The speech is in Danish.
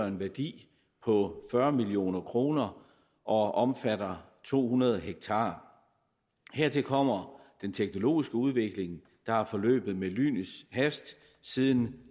en værdi på fyrre million kroner og omfatter to hundrede ha hertil kommer den teknologiske udvikling der er forløbet med lynets hast siden